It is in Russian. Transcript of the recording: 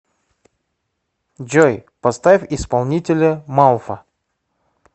джой поставь исполнителя малфа